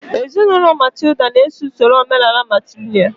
Ezinụlọ Matilda na-eso usoro omenaala matrìlị̀nị́al